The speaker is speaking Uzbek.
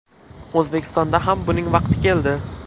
O‘zbekistonda ham buning vaqti keldi.